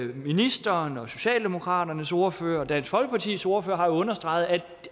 ministeren socialdemokratiets ordfører og dansk folkepartis ordfører har jo understreget at